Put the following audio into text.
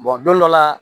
don dɔ la